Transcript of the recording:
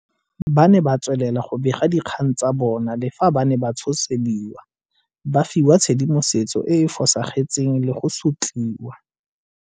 Ba ne ba tswelela go bega dikgang tsa bona le fa ba ne ba tshosediwa, ba fiwa tshedimosetso e e fosagetseng le go sotliwa.